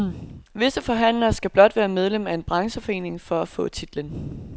Visse forhandlere skal blot være medlem af en brancheforening for at få titlen.